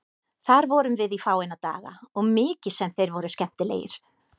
Þar vorum við í fáeina daga og mikið sem þeir voru skemmtilegir.